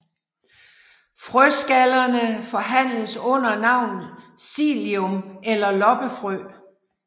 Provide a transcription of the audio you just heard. Frøskallerne forhandles under navnet psyllium eller loppefrø